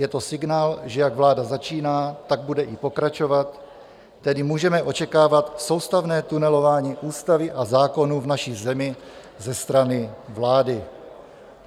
Je to signál, že jak vláda začíná, tak bude i pokračovat, tedy můžeme očekávat soustavné tunelování ústavy a zákonů v naší zemi ze strany vlády."